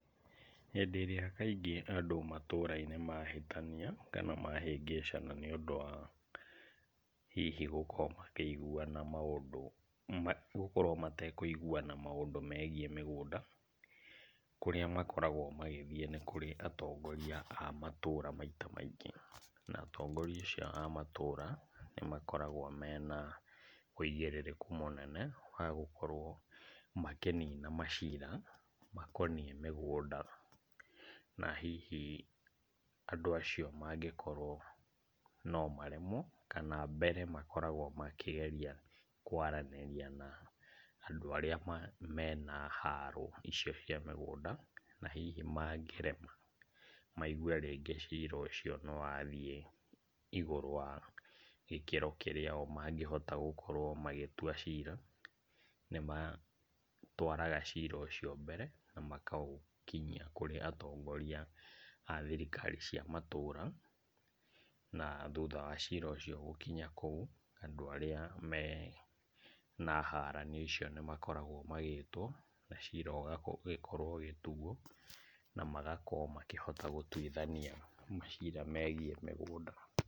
Hĩndĩ ĩrĩa kaingĩ andũ matũra-inĩ mahĩtania kana mahĩngĩcana nĩũndũ wa hihi gũkorwo makĩiguana maũndũ, gũkorwo matekũiguana maũndũ megiĩ mĩgũnda, kũrĩa makoragwo magĩthiĩ nĩ kũrĩ atongoria a matũra maita maingĩ, na atongoria acio a matũra nĩmakoragwo mena ũigĩrĩrĩku mũnene wa gũkorwo makĩnina macira makoniĩ mĩgũnda, na hihi andũ acio mangĩkorwo no maremwo kana mbere makoragwo makĩgeria kwaranĩria na andũ arĩa mena haro icio cia mĩgũnda na hihi mangĩrema maigue rĩngĩ cira ũcio nĩwathiĩ igũrũ wa gĩkĩro kĩra o mangĩhota gũkorwo magĩtua cira, nĩmatwaraga cira ũcio mbere ana makaũnkinyia kũrĩ atongoria a thirikari cia matũra, na thutha wa cira ũcio gũkinya kũu, andũ arĩa mena haranio icio nĩmakoragwo magĩtwo na cira ũgagĩkorwo ũgĩtuo na magakorwo makĩhota gũtuithania macira megiĩ mĩgũnda.